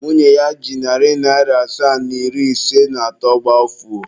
Nwunye ya ji narị naịra asaa na iri ise na atọ gbafuo.